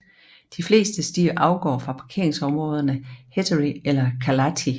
De fleste stier afgår fra parkeringsområderne Heretty eller Kalalahti